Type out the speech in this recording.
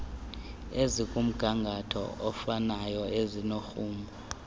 ezingumgangatho ofanayo ezinomrhumo